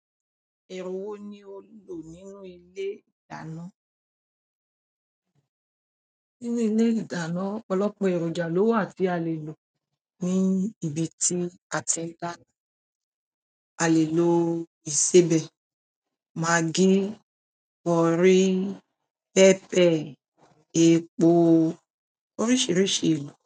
Ẹrú wò ní o lò nínú ilé ìdáná? Nínú ilé ìdáná, ọ̀pọ̀lọpọ̀ èròjà lówà tí a lè lò ní ìbítí a tí dáná. A lè lò ìsébẹ́, maggi, currie, pẹ́pẹ, epo, orísìírísìí elò.